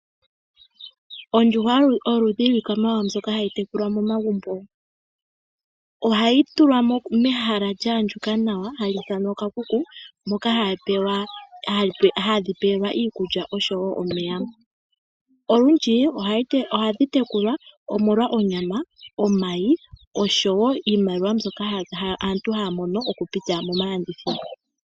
Ondjuhwa oyo oludhi lwiikwamawawa mbyoka hayi tekulwa momagumbo. Ohayi tulwa mehala lya andjuka nawa hali ithanwa oshikuku, moka hadhi pelwa iikulya noshowo omeya. Olundji ohadhi tekulwa omolwa onyama, omayi, oshowo iimaliwa mbyoka aantu haya mono okupitila momalandithilo.